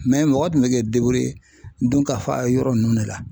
mɔgɔ tun bɛ k'e dunkafa yɔrɔ ninnu de la.